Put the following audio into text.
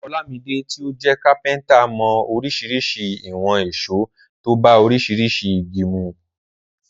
Olamide tí ó jẹ́ kápẹ́ntà mọ oríṣiríṣi ìwọ̀n ìṣó tó bá oríṣiríṣi igi mu.